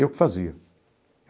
Eu que fazia.